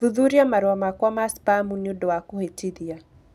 Thuthuria marũa makwa ma spamu nĩ ũndũ wa kũhĩtithia